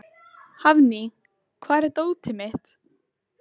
Þú stendur þig vel, Doddý!